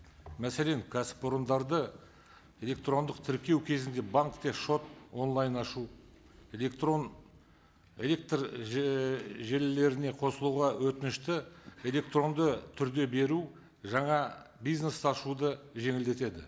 мәселен кәсіпорындарды электрондық тіркеу кезінде банкте шот онлайн ашу электрон электр желілеріне қосылуға өтінішті электронды түрде беру жаңа бизнес ашуды жеңілдетеді